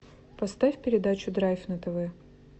поставь передачу драйв на тв